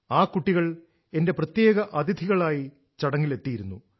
ആ കുട്ടികൾ എന്റെ പ്രത്യേക അതിഥികളായി ചടങ്ങിൽ എത്തിയിരുന്നു